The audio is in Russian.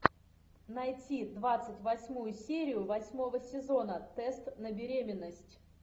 найти двадцать восьмую серию восьмого сезона тест на беременность